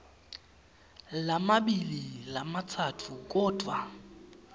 lamabili lamatsatfu kodvwa